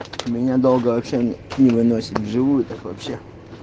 меня долго вообще не выносит в живую так вообще